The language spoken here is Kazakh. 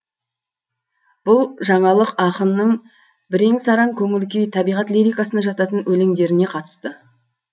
бұл жаналық ақынның бірен сараң көңіл күй табиғат лирикасына жататын өлеңдеріне қатысты